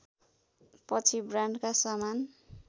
पछि ब्रान्डका सामान